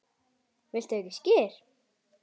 Viltu ekki skyr?